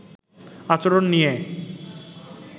আচরণ নিয়ে